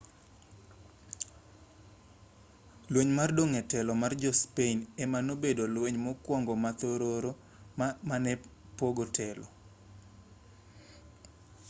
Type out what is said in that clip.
lweny mar dong' e telo mar jo-spain ema nobedo lweny mokwongo ma thororo mare ne en pogo telo